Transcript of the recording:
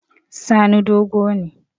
Sani dogo ne